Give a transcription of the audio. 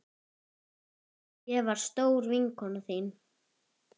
Ég var stór vinkona þín.